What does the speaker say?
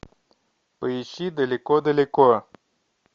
поищи далеко далеко